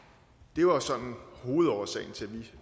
det var sådan set hovedårsagen til